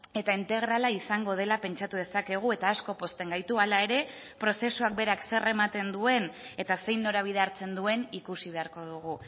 eta integrala izango dela pentsatu dezakegu eta asko pozten gaitu hala ere prozesuak berak zer ematen duen eta zein norabidea hartzen duen ikusi beharko dugu